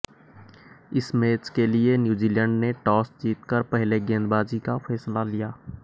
इस मैच के लिये न्यूजीलैंड ने टॉस जीतकर पहले गेंदबाजी का फैसला लिया